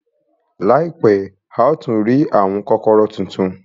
Láìpẹ́, a ó tún rí àwọn kọ́kọ́rọ́ tuntun.